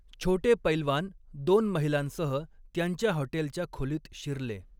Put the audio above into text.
छोटे पैलवान दोन महिलांसह त्यांच्या हॉटेलच्या खोलीत शिरले.